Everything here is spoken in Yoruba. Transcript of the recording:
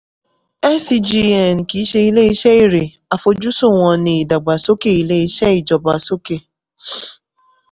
scgn kìí ṣe ilé-iṣẹ́ èrè àfojúsùn wọn ní ìdàgbàsókè ilé-iṣẹ́ ìjọba sókè.